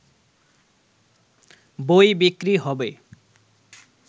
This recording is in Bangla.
বই বিক্রি হবে